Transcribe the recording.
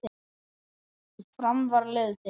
Fram var liðið þitt.